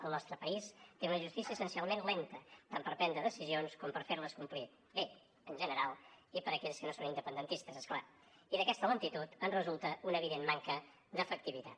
el nostre país té una justícia essencialment lenta tant per prendre decisions com per fer les complir bé en general i per a aquells que no són independentistes és clar i d’aquesta lentitud en resulta una evident manca d’efectivitat